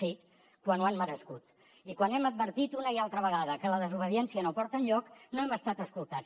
sí quan ho han merescut i quan hem advertit una i altra vegada que la desobediència no porta enlloc no hem estat escoltats